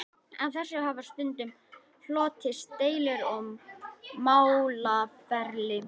Af þessu hafa stundum hlotist deilur og málaferli.